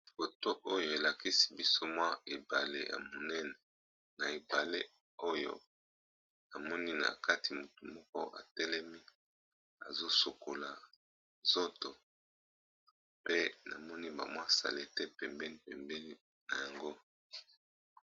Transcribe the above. Foto oyo elakisi biso ebale ya munene namoni na kati mutu azo sokola nzoto pe namoni salite pembeni.